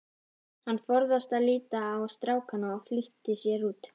Hann forðaðist að líta á strákana og flýtti sér út.